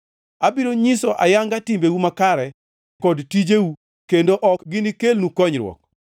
Abiro nyiso ayanga timbeu makare kod tijeu, kendo ok ginikelnu konyruok.